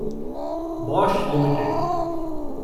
Bosch limited